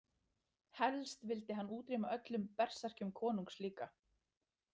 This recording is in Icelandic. Helst vildi hann útrýma öllum berserkjum konungs líka.